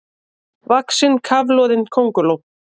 vaxin kafloðin könguló.